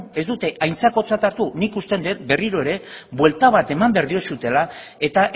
ez dute aintzakotzat hartu nik usten det berriro ere buelta bat eman behar diozutela eta